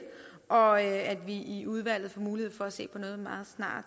og at vi i udvalget får mulighed for at se på noget